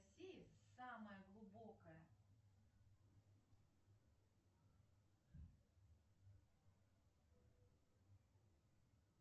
салют